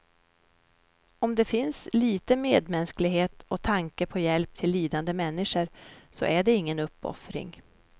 Om det finns lite medmänsklighet och tanke på hjälp till lidande människor, så är det ingen uppoffring.